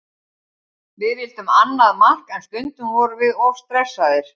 Við vildum annað mark en stundum vorum við of stressaðir.